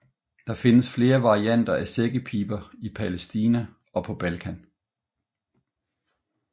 Der findes flere varianter af sækkepiber i Palæstina og på Balkan